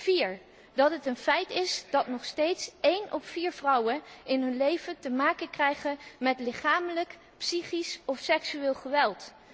4 dat het een feit is dat nog steeds één op vier vrouwen in hun leven te maken krijgen met lichamelijk, psychisch of seksueel geweld